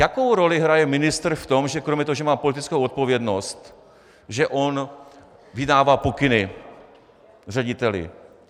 Jakou roli hraje ministr v tom, že kromě toho, že má politickou odpovědnost, že on vydává pokyny řediteli?